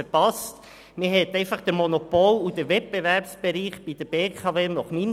Nach meinem Dafürhalten hat man bei der BKW den Monopol- zu wenig klar vom Wettbewerbsbereich getrennt.